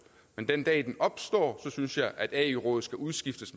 men den dag den opstår synes jeg at ae rådet skal udskiftes